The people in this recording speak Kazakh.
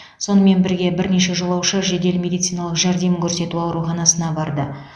сонымен бірге бірнеше жолаушы жедел медициналық жәрдем көрсету ауруханасына барды